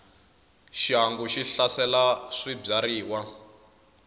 xihangu xi hlasela swibyariwa